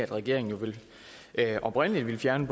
regeringen ville oprindelig fjerne